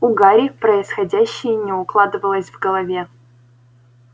у гарри происходящее не укладывалось в голове